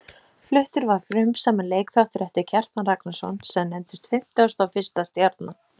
Fluttur var frumsaminn leikþáttur eftir Kjartan Ragnarsson, sem nefndist Fimmtugasta og fyrsta stjarnan.